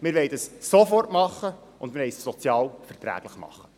Wir wollen dies sofort tun, und wir wollen es sozial verträglich tun.